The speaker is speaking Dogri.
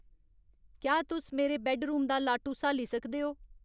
क्या तुस मेरे बैड्डरूम दा लाटू स्हाली सकदे ओ